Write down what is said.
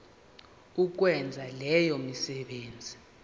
ukwenza leyo misebenzi